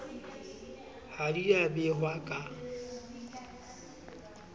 ha di a behwa ka